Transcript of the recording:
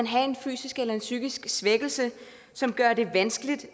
have en fysisk eller psykisk svækkelse som gør det vanskeligt